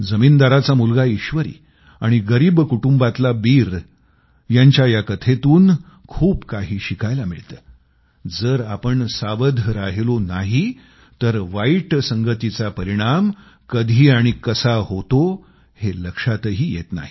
जमीनदाराचा मुलगा ईश्वरी आणि गरीब कुटुंबातला बीर यांच्या या कथेतून खूप काही शिकायला मिळतं की जर आपण सावध राहिलो नाही तर वाईट संगतीचा परिणाम कधी आणि कसा होतो हे लक्षातही येत नाही